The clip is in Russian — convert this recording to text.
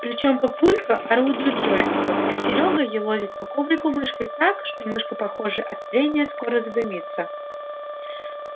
причём папулька орудует джойстиком а серёга елозит по коврику мышкой так что мышка похоже от трения скоро задымится